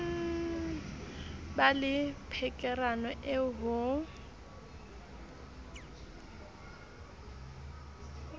ba le pherekano eo ho